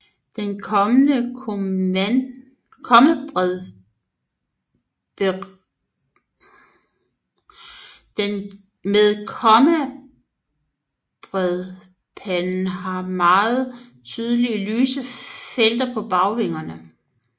Men kommabredpanden har meget tydeligere lyse felter på bagvingerne